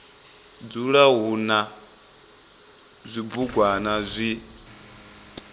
dzula hu na zwibugwana zwi